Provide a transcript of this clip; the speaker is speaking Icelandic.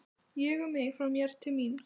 Ég, um mig, frá mér, til mín.